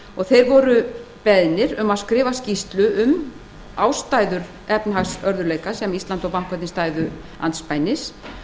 og þeir beðnir um að skrifa skýrslu um ástæður efnahagsörðugleika sem ísland og bankarnir stæðu andspænis